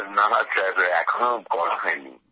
না স্যার এখনো করা হয়নি